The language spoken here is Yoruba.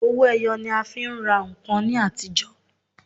Owó ẹyọ ni a fi ń rà ǹkan ní àtijọ́.